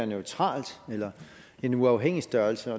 neutralt eller en uafhængig størrelse